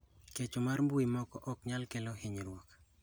Kecho mar mbui moko ok nyal kelo hinyruok.